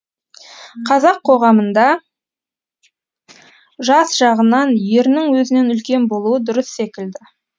қазақ қоғамында жас жағынан ерінің өзінен үлкен болуы дұрыс секілді